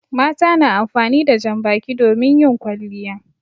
Mata na amfani da jan baki domin yin kwalliya.